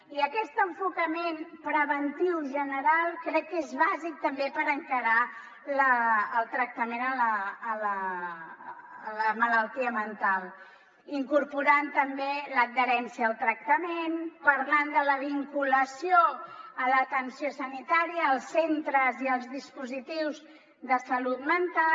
i aquest enfocament preventiu general crec que és bàsic també per encarar el tractament de la malaltia mental incorporant hi també l’adherència al tractament parlant de la vinculació a l’atenció sanitària als centres i als dispositius de salut mental